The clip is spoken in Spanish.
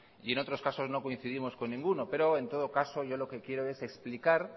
y en otros casos no coincidimos con ninguno pero en todo caso yo lo que quiero es explicar